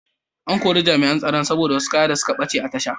An kori Jami’an Tsaron ne saboda wasu kaya da suka bace a tashar.